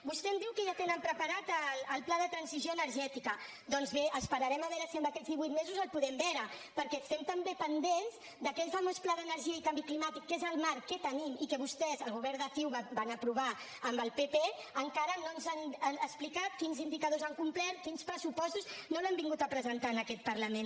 vostè em diu que ja tenen preparat el pla de transició energètica doncs bé esperarem a veure si amb aquests divuit mesos el podem veure perquè estem també pendents d’aquell famós pla d’energia i canvi climàtic que és el marc que tenim i que vostès el govern de ciu van aprovar amb el pp encara no ens han explicat quins indicadors han complert quins pressupostos no l’han vingut a presentar en aquest parlament